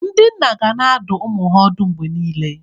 Ndị nna ga na-adụ ụmụ ha ọdụ mgbe niile.